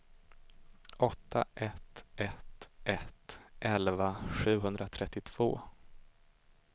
åtta ett ett ett elva sjuhundratrettiotvå